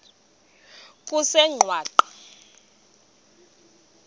kusengwaqa